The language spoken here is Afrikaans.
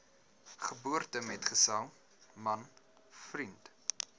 geboortemetgesel man vriend